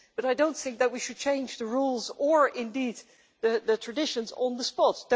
but I don't think that we should change the rules, or indeed the traditions, on the spot.